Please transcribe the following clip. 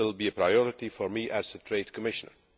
This will be a priority for me as Trade Commissioner.